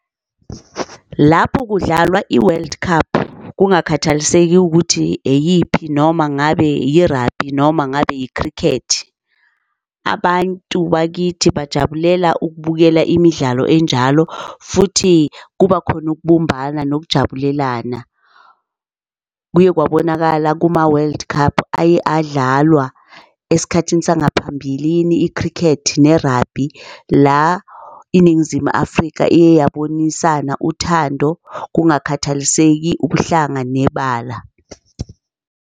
Lapho kudlalwa i-world cup kungakhathaliseki ukuthi eyiphi noma ngabe yi-rugby noma ngabe i-cricket. Abantu bakithi bajabulela ukubukela imidlalo enjalo futhi kuba khona ukubumbana nokujabulelana. Kuye kwabonakala kuma-world cup aye adlalwa esikhathini sangaphambilini, i-cricket ne-rugby la iNingizimu Afrika iye yabonisana uthando kungakhathaliseki ubuhlanga nebala.